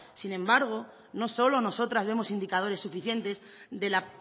sin embargo no solo nosotras vemos indicadores suficientes de la